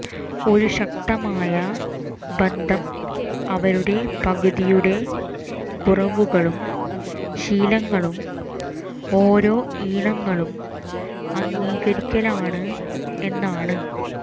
ഒരു ശക്തമായ ബന്ധം അവരുടെ പകുതിയുടെ കുറവുകളും ശീലങ്ങളും ഓരോ ഇണകളും അംഗീകരിക്കലാണ് എന്നാണ്